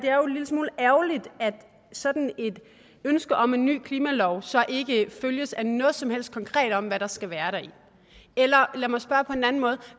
lille smule ærgerligt at sådan et ønske om en ny klimalov så ikke følges af noget som helst konkret om hvad der skal være i den eller lad mig spørge på en anden måde